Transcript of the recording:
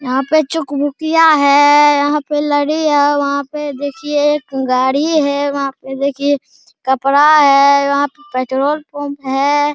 यहाँ पे चुक-भुकियाँ है यहाँ पे लड़ी है वहाँ पे देखिए एक गाड़ी है वहाँ पे देखिए कपड़ा है वहाँ पे पेट्रोल पंप है।